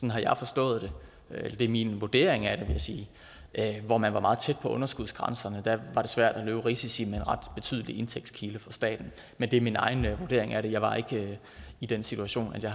jeg forstået det det er min vurdering af det jeg sige hvor man var meget tæt på underskudsgrænserne var svært at løbe risici med en ret betydelig indtægtskilde for staten men det er min egen vurdering af det jeg var ikke i den situation at jeg